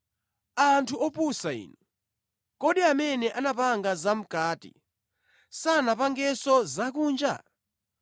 Anthu opusa inu! Kodi amene anapanga zamʼkati sanapangenso zakunja?